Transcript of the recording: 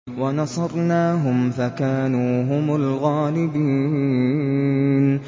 وَنَصَرْنَاهُمْ فَكَانُوا هُمُ الْغَالِبِينَ